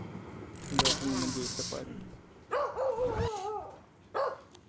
даже не надейся парень